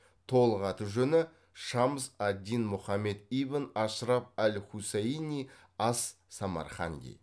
толық аты жөні шамс ад дин мұхаммед ибн ашраф ал хусаини ас самарханди